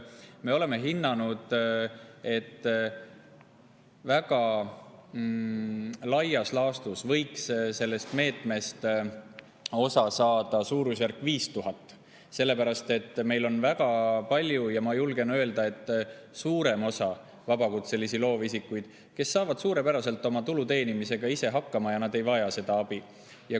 Me oleme hinnanud, et väga laias laastus võiks sellest meetmest osa saada suurusjärgus 5000, sest väga paljud saavad – ma julgen öelda, et suurem osa vabakutselisi loovisikuid saab – tulu teenimisega suurepäraselt ise hakkama ja nad ei vaja seda abi.